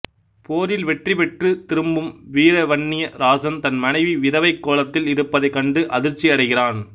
போரில் வெற்றிபெற்று திரும்பும் வீரவன்னிய ராசன் தன் மனைவி விதவைக் கோலத்தில் இருப்பதைக் கண்டு அதிர்ச்சியடைகிறான்